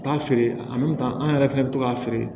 Taa feere an yɛrɛ fɛnɛ bɛ to k'a feere